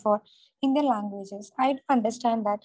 four Indian languages for I understand that